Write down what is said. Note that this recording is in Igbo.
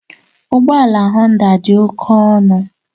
Ụgbọ ala Honda dị oke ọnụ